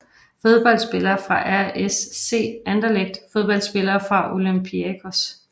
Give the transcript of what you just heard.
Fodboldspillere fra RSC Anderlecht Fodboldspillere fra Olympiakos